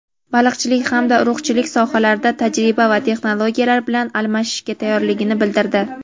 baliqchilik hamda urug‘chilik sohalarida tajriba va texnologiyalar bilan almashishga tayyorligini bildirdi.